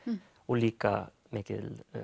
líka mikil